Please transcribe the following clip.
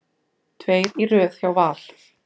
Tveir í röð hjá Val